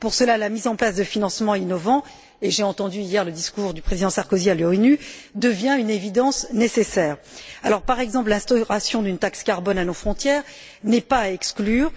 Pour cela, la mise en place de financements innovants et j'ai entendu hier le discours du président Sarkozy à l'ONU devient une évidence nécessaire. L'instauration, par exemple, d'une taxe carbone à nos frontières n'est pas à exclure.